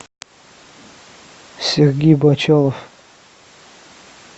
сергей бочалов